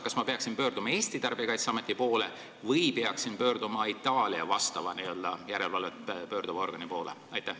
Kas ma peaksin pöörduma Eesti Tarbijakaitseameti poole või peaksin pöörduma Itaalia järelevalvet tegeva organi poole?